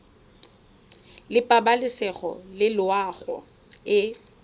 la pabalesego le loago e